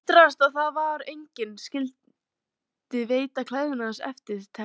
Ég undraðist það að enginn skyldi veita klæðnaði hans eftirtekt.